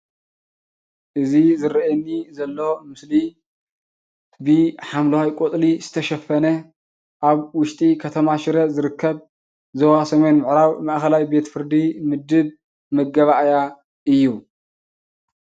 እዚ ዝረአየኒ ዘሎ ምስሊ ብሓምለዋይ ቆፅሊ ዝተሸፈነ ኣብ ውሽጢ ከተማ ሽረ ዝርከብ ዞባ ሰሜን ምዕራብ ማእከላይ ቤት-ፍርዲ ምድብ መጋባእያ እዩ።